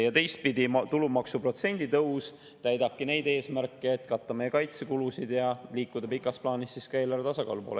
Ja teistpidi, tulumaksuprotsendi tõus täidabki neid eesmärke, et katta meie kaitsekulusid ja liikuda pikas plaanis ka eelarvetasakaalu poole.